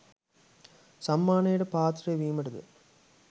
සම්මානයට පාත්‍රය වීමට ද